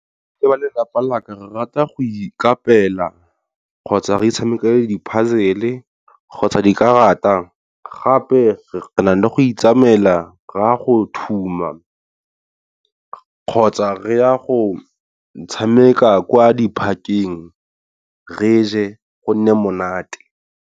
Le ba lelapa laka re rata go ikapela kgotsa re tshamekele di-puzzle kgotsa dikarata gape re na le go itsamela re a go thuma, kgotsa re ya go tshameka kwa di-park-eng re je go nne monate.